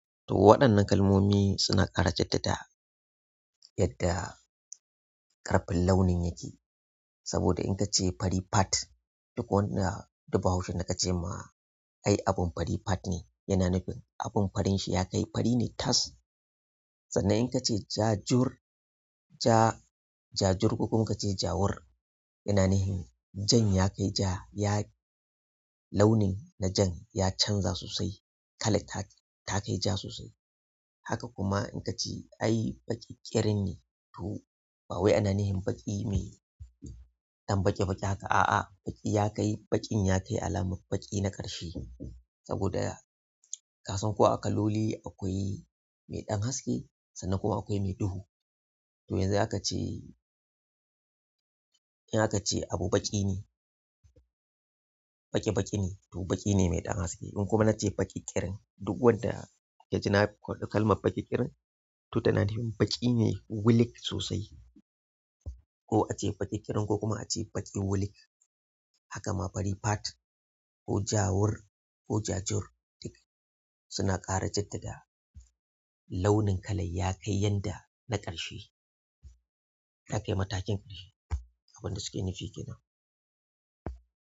To waɗannan kalmomi suna ƙara jaddada yadda ƙarfin launin yake. Saboda in ka ce fari fat duk wanda, duk bahaushen da ka ce ma ai abun fari fat ne yana nufin abun farin shi ya kai fari ne tas. Sannan in ka ce jajur ja jajur ko kuma ka ce jawur yana nufin jan ya kai ja ya launin na jan ya canza sosai kalan ta kai ja sosai. Haka kuma in ka ce ai baƙiƙirin ne to ba wai ana nufin baƙi mai ɗan baƙi baƙi haka a'a baƙi ya kai baƙin ya kai alamar baƙi na ƙarshe saboda ya. Ka san ko a kaloli akwai mai ɗan haske sannan kuma akwai mai duhu. To yanzu aka ce in aka ce abu baƙi ne, baƙi baƙi ne to baƙi ne mai ɗan haske. In kuma na ce baƙiƙirin duk wanda ya ji kalmar baƙiƙirin to tana nufin baƙi ne wulik sosai. Ko a ce baƙi ƙirin ko kuma a ce baƙi wulik. Haka ma fari fat ko jawur ko jajur duk suna ƙara jaddada launin kalar ya kai yanda na ƙarshe. Ta kai matakin ƙarshe. Abin da suke nufi kenan.